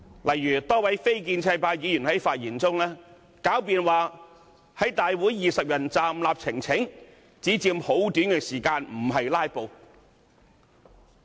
例如多位非建制派議員於發言中詭辯，在大會以20人站立方式提交呈請書，只佔很短時間而不屬"拉布"。